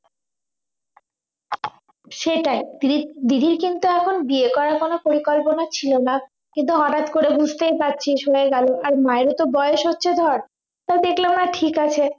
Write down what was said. সেটাই দি~ দিদির কিন্তু এখন বিয়ে করার কোন পরিকল্পনা ছিল না কিন্তু হঠাৎ করে বুঝতেই পারছিস হয়ে গেল আর মায়েরও তো বয়স হচ্ছে ধর তো দেখল মা ঠিক আছে